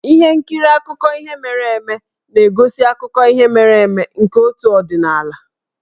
Ihe nkiri akụkọ ihe mere eme na-egosi akụkọ ihe mere eme nke otu ọdịnala.